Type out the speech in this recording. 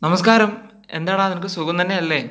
നമസ്കരം, എന്താടാ നിനക്കൂ സുഗം തന്നെ അല്ലെ